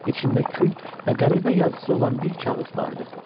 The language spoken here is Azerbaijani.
İçində kül, qəribə yazısı olan bir kağız vardı.